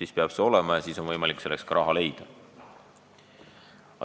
siis peab seda tegema ja siis on võimalik selleks ka raha leida.